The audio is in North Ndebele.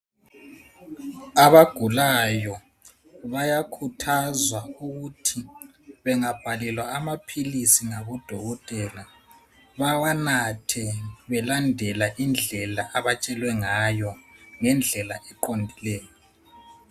Abagulayo bayakhuthazwa ukuthi bangabhalelwa amaphilisi ngodokotela. Bawanathe belandela indlela abatsheowe ngayo. Ngendlela eqondileyo.